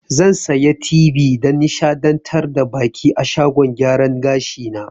Zan sayi tibi dan nishaɗantar da baƙi a shagon gyaran gashi na